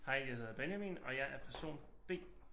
Hej jeg hedder Benjamin og jeg er person B